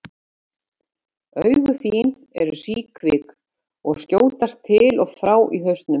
Augu þín eru síkvik og skjótast til og frá í hausnum.